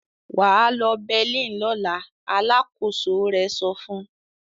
"Wà á lọ Berlin lọ́la!" Alákòóso rẹ̀ sọ fún un.